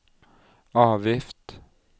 avgift